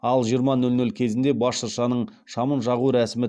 ал жиырма нөл нөл кезінде бас шыршаның шамын жағу рәсімі